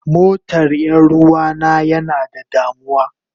Motar Yaruwa na yana da damuwa.